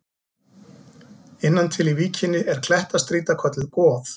Innan til í víkinni er klettastrýta kölluð Goð.